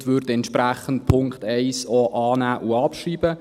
Entsprechend würden wir auch den Punkt 1 annehmen und abschreiben.